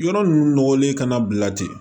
Yɔrɔ ninnu nɔgɔlen kana bila ten